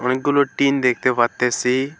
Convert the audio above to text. অনেকগুলো টিন দেখতে পারতাছি।